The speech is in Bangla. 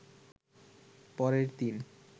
পরের দিন